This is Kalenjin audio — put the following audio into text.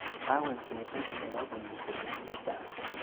Kakoek betut nebo boisionik che chang.